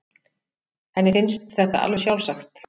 Henni finnst þetta alveg sjálfsagt.